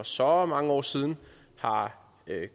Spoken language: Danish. så mange år siden har